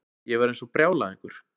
Ég var eins og brjálæðingur.